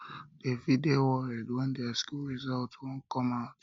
dem fit dey worried when their school result won come out